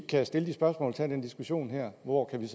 kan stille spørgsmål og tage en diskussion her hvor kan vi